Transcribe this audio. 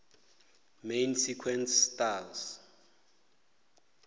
main sequence stars